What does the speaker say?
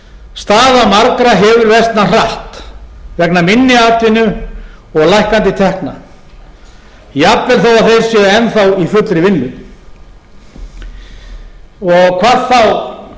staða margra hefur versnað hratt vegna minni atvinnu og lækkandi tekna jafnvel þó að þeir séu enn þá í fullri vinnu hvað þá